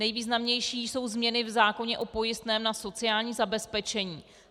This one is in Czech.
Nejvýznamnější jsou změny v zákoně o pojistném na sociální zabezpečení.